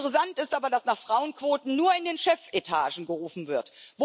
Interessant ist aber, dass nach Frauenquoten nur in den Chefetagen gerufen wird.